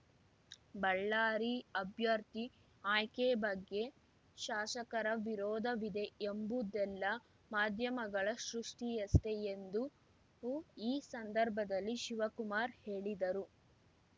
ಬಳ್ಳಾರಿ ಅಭ್ಯರ್ಥಿ ಆಯ್ಕೆ ಬಗ್ಗೆ ಶಾಸಕರ ವಿರೋಧವಿದೆ ಎಂಬುದೆಲ್ಲ ಮಾಧ್ಯಮಗಳ ಸೃಷ್ಟಿಯಷ್ಟೇ ಎಂದು ಈ ಸಂದರ್ಭದಲ್ಲಿ ಶಿವಕುಮಾರ್‌ ಹೇಳಿದರು